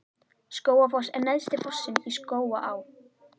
Skógafoss er neðsti fossinn í Skógaá.